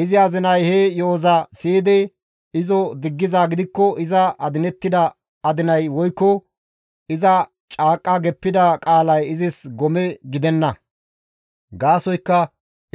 Izi azinay he yo7oza siyidi izo diggizaa gidikko iza adinettida adinay woykko iza caaqqa geppida qaalay izis gome gidenna; gaasoykka